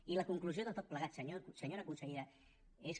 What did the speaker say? i la conclusió de tot plegat senyora consellera és que